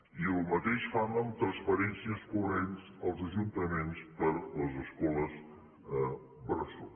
i el mateix fan amb transferències corrents als ajuntaments per a les escoles bressol